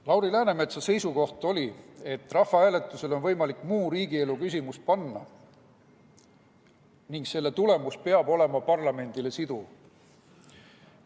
Lauri Läänemetsa seisukoht oli, et rahvahääletusele on muu riigielu küsimus võimalik panna ning selle tulemus peab olema parlamendile siduv.